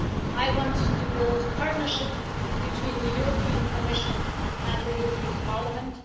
I want to build a partnership between the European Commission and the European Parliament.